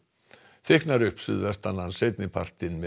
þykknar upp suðvestanlands seinni partinn með